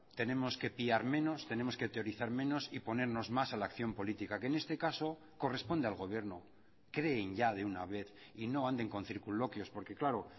tenemos que piar menos tenemos que teorizar menos y ponernos más a la acción política que en este caso corresponde al gobierno creen ya de una vez y no anden con circunloquios porque claro